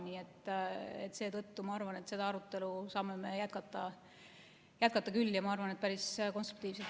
Nii et seetõttu ma arvan, et seda arutelu saame me jätkata küll ja teha seda päris konstruktiivselt.